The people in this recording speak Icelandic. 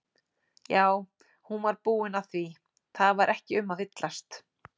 Já, hún var búin að því, það var ekki um að villast!